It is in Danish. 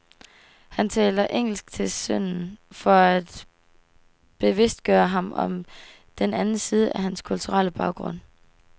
Han taler engelsk til sønnen for at bevidstgøre ham om den anden side af hans kulturelle baggrund.